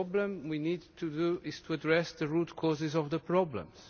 What we need to do is address the root causes of the problems.